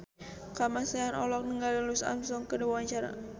Kamasean olohok ningali Louis Armstrong keur diwawancara